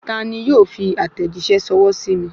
Ta ni yóò fi àtẹ̀jíṣẹ́ ṣọwọ́ sí mi